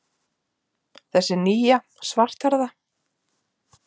Þessi nýja, svarthærða.